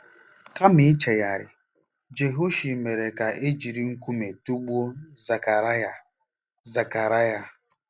Kama ichegharị, Jehoashi mere ka e jiri nkume tụgbuo Zekaraya. Zekaraya.